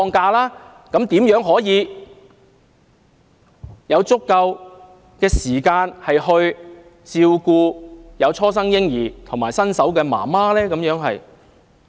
這樣的話，男士如何能夠有足夠時間照顧初生嬰兒和新手母親呢？